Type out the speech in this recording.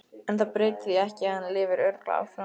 En það breytir því ekki að hann lifir örugglega áfram.